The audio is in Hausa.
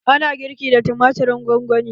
Ana girki da tumatirin gongoni.